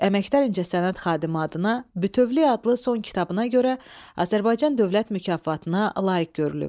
Əməkdar incəsənət xadimi adına Bütövlük adlı son kitabına görə Azərbaycan Dövlət mükafatına layiq görülüb.